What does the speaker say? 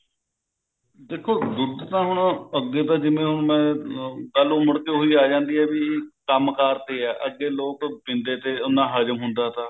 ਦੇਖੋ ਦੁੱਧ ਤਾ ਹੁਣ ਅੱਗੇ ਤਾਂ ਜਿਵੇਂ ਹੁਣ ਗੱਲ ਉਮਡਦੀ ਹੋਈ ਆ ਜਾਂਦੀ ਹੈ ਵੀ ਕੰਮ ਕਾਰ ਤੇ ਹੈ ਅਰ ਜੇ ਲੋਕ ਪੀਂਦੇ ਥੇ ਨਾ ਹਜਮ ਹੁੰਦਾ ਥਾ